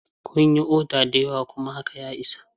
Kun yi oda da yawa kuma haka ya isa.